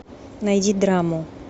найди драму